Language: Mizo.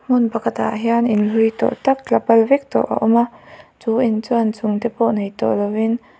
hmun pakhatah hian in hlui tawh tak tla bal bek tawh a awm a chu in chuan inchung te pawh nei tawh lovin.